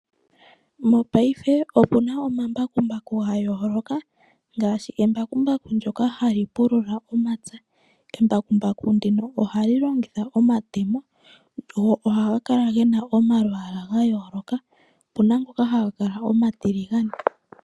Mopaife opuna omambakumbaku gayooloka ngaashi embakumbaku ndyoka hali pulula omapya. Embakumbaku ndino ohali longitha omatemo go ohaga kala gena omalwaala gayooloka, opuna ngoka haga kala omatiligane.